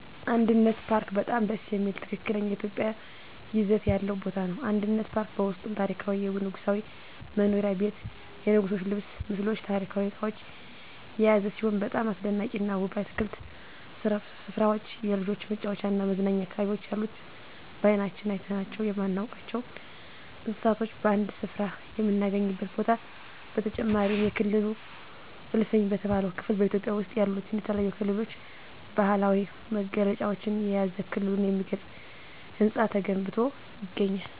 አንድነት ፓርክ በጣም ደስ የሚል ትክክለኛ ኢትዮጵያዊ ይዘት ያለው ቦታ ነው። አንድነት ፓርክ በውስጡም ታሪካዊ የንጉሣዊ መኖሪያ ቤት የንጉሥች ልብስ ምስሎች ታሪካዊ እቃዎች የያዘ ሲሆን በጣም አስደናቂና ውብ የአትክልት ስፍራዎች የልጆች መጫወቻና መዝናኛ አካባቢዎች ያሉት በአይናችን አይተናቸው የማናውቃቸውን እንስሳቶች በአንድ ስፍራ የምናገኝበት ቦታ በተጨማሪም የክልል እልፍኝ በተባለው ክፍል በኢትዮጵያ ውስጥ ያሉትን የተለያዩ ክልሎች ባህላዊ መገለጫዎችን የያዘ ክልሉን የሚገልጽ ህንፃ ተገንብቶ ይገኛል።